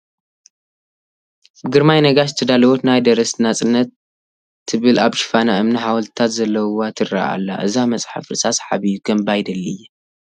ብግርማይ ነጋሽ ዝተዳለወት ናይ ደረስቲ ናፅነት ትብል ኣብ ሽፋና እምኒ ሓወልትታት ዘለዉዋ ትርአ ኣላ፡፡ እዛ መፅሓፍ ርእሳ ሰሓቢ እዩ፡፡ ከንብባ ይደሊ እየ፡፡